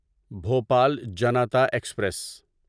Bhopal Janata express